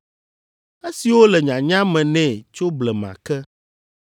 Esiwo le nyanya me nɛ tso blema ke.